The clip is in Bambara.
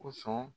Kosɔn